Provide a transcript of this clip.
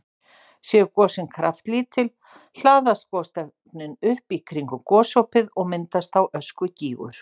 Séu gosin kraftlítil hlaðast gosefnin upp í kringum gosopið og myndast þá öskugígur.